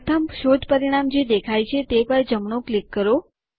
પ્રથમ શોધ પરિણામ જે દેખાય છે તે પર જમણું ક્લિક કરો